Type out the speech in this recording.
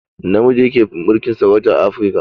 Namiji yake mulkin sarauta a afruka